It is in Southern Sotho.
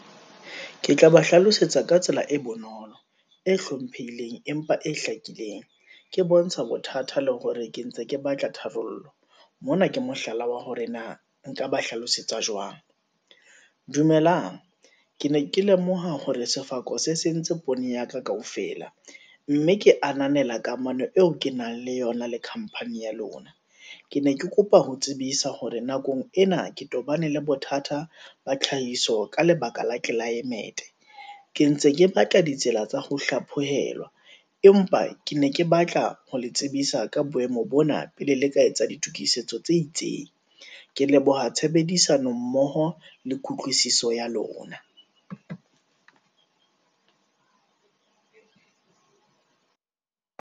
Ke tla ba hlalosetsa ka tsela e bonolo, e hlomphehileng, empa e hlakileng, ke bontsha bothatha le hore ke ntse ke batla tharollo. Mona ke mohlala wa hore na nka ba hlalosetsa jwang. Dumelang, ke ne ke lemoha hore sefako se sentse poone ya ka kaofela, mme ke ananela kamano eo ke nang le yona le company ya lona. Ke ne ke kopa ho tsebisa hore nakong ena, ke tobane le bothata ba tlhahiso, ka lebaka la ke climate-e, ke ntse ke batla ditsela tsa ho hlaphohelwa, empa ke ne ke batla ho le tsebisa ka boemo bona, pele le ka etsa ditokisetso tse itseng. Ke leboha tshebedisano mmoho le kutlwisiso ya lona.